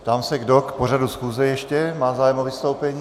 Ptám se, kdo k pořadu schůze ještě má zájem o vystoupení.